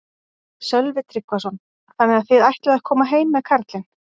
Sölvi Tryggvason: Þannig að þið ætlið að koma heim með karlinn?